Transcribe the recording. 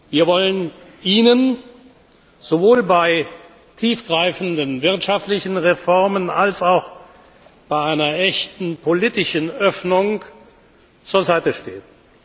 Wir wollen Ihnen sowohl bei tiefgreifenden wirtschaftlichen Reformen als auch bei einer echten politischen Öffnung zur Seite stehen.